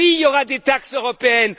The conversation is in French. Oui, il y a aura des taxes européennes.